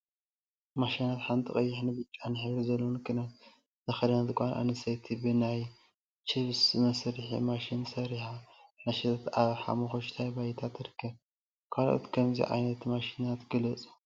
ማሽናት ሓንቲ ቀይሕን ብጫን ሕብሪ ዘለዎ ክዳን ዝተከደነት ጓል አንስተይቲ ብናይ ችፕስ መስርሒ ማሽን ሰሪሓ እናሸጠት አብ ሓመኩሽታይ ባይታ ትርከብ፡፡ ካልኦት ከምዚ ዓይነት ማሽናት ግለፁ?